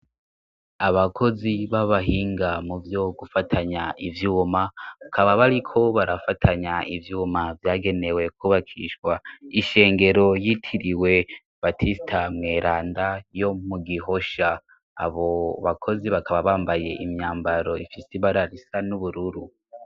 Abakozi b'abahinga mu vyo gufatanya ivyuma, bakaba bariko barafatanya ivyuma vyagenewe kwubakishwa, ishengero y'itiriwe batisita mweranda yo mu Gihosha. Abo bakozi bakaba bambaye imyambaro ifise ibara risa n'ubururu.